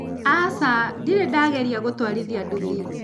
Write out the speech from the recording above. Aca, ndirĩ ndagereria gũtwarithia nduthi.